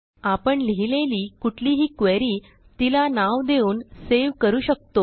आपण लिहिलेली कुठलीही क्वेरी तिला नाव देऊन सेव्ह करू शकतो